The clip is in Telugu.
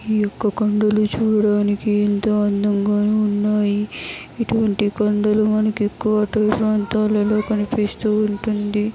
ఈ యొక్క కొండలు చూడ్డానికి ఎంతో అందంగా ఉన్నాయి ఇటువంటి కొండలు మనకు ఎక్కువగా ప్రాంతాలలో కనిపిస్తూ ఉంటుంది.